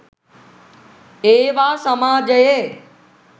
ඒවා සමාජයේ